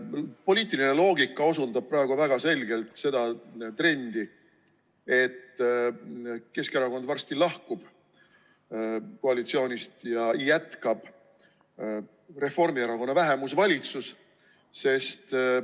Poliitiline loogika osundab praegu väga selgelt seda trendi, et Keskerakond varsti lahkub koalitsioonist ja seal jätkab Reformierakonna vähemusvalitsus.